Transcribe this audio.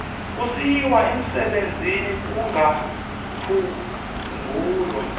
kusiyiwa umsebenzini kungaphungula